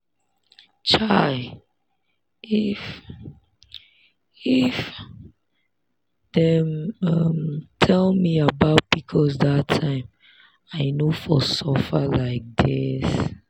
chai! if if dem um tell me about pcos that time i no for suffer like this.